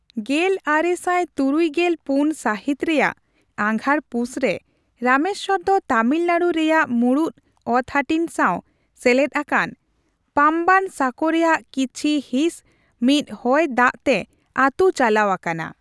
ᱜᱮᱞ ᱟᱨᱮ ᱥᱟᱭ ᱛᱩᱨᱩᱭ ᱜᱮᱞ ᱯᱩᱱ ᱥᱟᱦᱤᱛ ᱨᱮᱭᱟᱜ ᱟᱜᱷᱟᱲᱼᱯᱩᱥ ᱨᱮ, ᱨᱟᱢᱮᱥᱥᱚᱨ ᱫᱚ ᱛᱟᱢᱤᱞᱱᱟᱲᱩ ᱨᱮᱭᱟᱜ ᱢᱩᱲᱩᱫ ᱚᱛᱼᱦᱟᱹᱴᱤᱧ ᱥᱟᱣ ᱥᱮᱞᱮᱫ ᱟᱠᱟᱱ ᱯᱟᱢᱵᱟᱱ ᱥᱟᱸᱠᱚ ᱨᱮᱭᱟᱜ ᱠᱤᱪᱷᱤ ᱦᱤᱸᱥ ᱢᱤᱫ ᱦᱚᱭ ᱫᱟᱜᱽ ᱛᱮ ᱟᱛᱩ ᱪᱟᱞᱟᱣ ᱟᱠᱟᱱᱟ ᱾